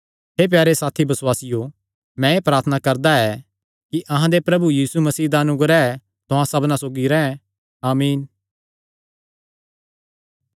हे प्यारे साथी बसुआसियो मैं एह़ प्रार्थना करदा ऐ कि अहां दे प्रभु यीशु मसीह दा अनुग्रह तुहां सबना सौगी रैंह् आमीन